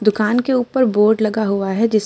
दुकान के ऊपर बोर्ड लगा हुआ है। जिस